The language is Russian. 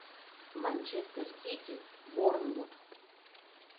манчестер сити борнмут